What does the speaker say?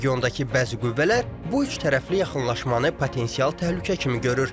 Regiondakı bəzi qüvvələr bu üçtərəfli yaxınlaşmanı potensial təhlükə kimi görür.